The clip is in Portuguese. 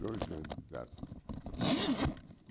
Dois anos de idade.